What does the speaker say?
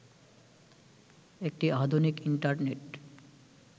একটি আধুনিক ইন্টারনেট